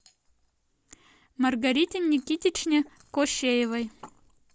маргарите никитичне кощеевой